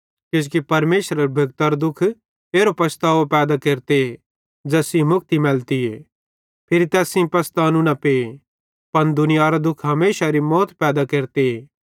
किजोकि परमेशरेरे भेक्तरो दुःख एरी पसतावो पैदा केरते ज़ैस सेइं मुक्ति मैलतीए फिरी तैस सेइं पसतानू न पे पन दुनियारो दुःख हमेशारी मौत पैदा केरते